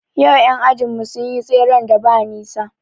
Yau ƴan ajin mu sun yi tseren da ba nisa